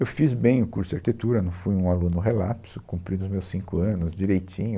Eu fiz bem o curso de arquitetura, não fui um aluno relapso, cumpri os meus cinco anos direitinho.